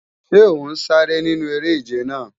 Ṣé ọ̀ ń sáré nínú eré-ìje náà?